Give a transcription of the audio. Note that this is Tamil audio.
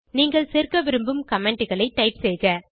நீங்கள் சேர்க்க விரும்பும் commentகளை டைப் செய்க